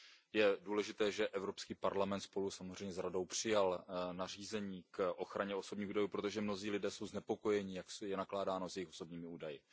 Je důležité, že EP spolu samozřejmě s Radou přijal nařízení k ochraně osobních údajů, protože mnozí lidé jsou znepokojeni, jak je nakládáno s jejich osobními údaji.